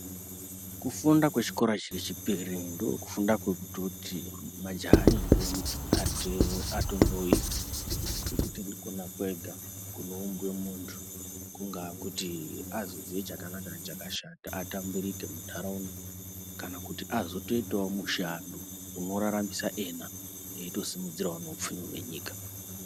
Kufunda kwechikora chechipiri ndokufunda kwekutoti majaya nentombi atondoita ngekuti ndikona kwega kunoumbwe muntu kungaa kuti azoziye chakanaka nechakashata atambirike munharaunda kana kuti azotoitawo mushando unoraramisa iyena eyitosimudzirawo upfumi hwenyika